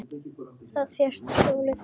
Þú fékkst hjólið!